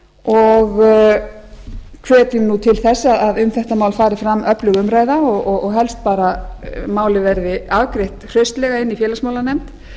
og hvetjum nú til þess að um þetta mál fari fram öflug umræða og helst bara að málið verði afgreitt hraustlega inni í félagsmálanefnd